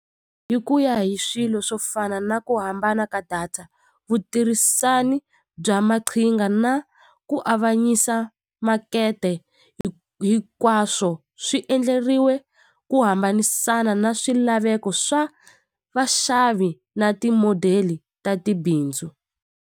Hi ku ya hi swilo swo fana na ku hambana ka data vutirhisani bya maqhinga na ku avanyisa makete hinkwaswo swi endleriwe ku hambanisana na swilaveko swa vaxavi na ti-model ta tibindzu.